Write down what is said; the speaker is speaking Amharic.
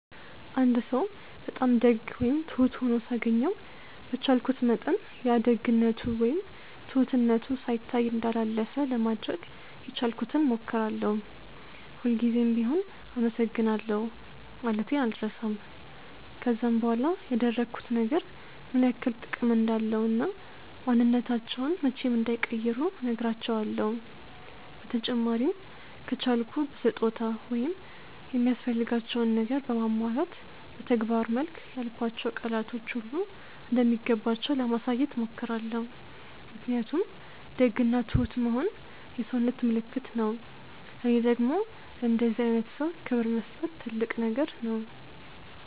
አንድ ሰው በጣም ደግ ወይም ትሁት ሆኖ ሳገኘው በቻልኩት መጠን ያ ደግነቱ ወይም ትሁትነቱ ሳይታይ እንዳላለፈ ለማድረግ የቻልኩትን ሞክራለው፤ ሁል ጉዘም ቢሆም አመሰግናለሁ ማለቴን አልረሳም፤ ከዛም በኋላ ያደረጉት ነገር ምን ያክል ጥቅም እንዳለው እና ማንንነታቸውን መቼም እንዳይቀይሩ ነህራቸውለው፤ በተጨማሪም ከቻልኩ በስጦታ ወይም የሚያስፈልጋቸውን ነገር በማሟላት በተግባር መልክ ያልኳቸው ቃላቶች ሁሉ እንደሚገባቸው ለማሳየት ሞክራለው ምክንያቱም ደግ እና ትሁት መሆን የሰውነት ምልክት ነው ለኔ ደግም ለእንደዚህ አይነት ሰው ክብር መስጠት ትልቅ ነገር ነው።